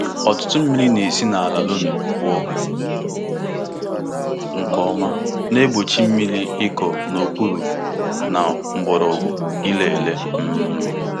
Ọtụtụ mmiri na-esi n'ala loamy pụọ nke ọma, na-egbochi mmiri ịkọ n'okpuru na mgbọrọgwụ ire ere. um